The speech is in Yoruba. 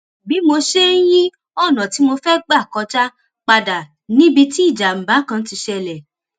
bí mo ṣe ń yí ònà tí mo fẹ gbà kọjá padà níbi tí ìjàmbá kan ti ṣẹlè